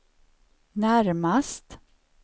närmast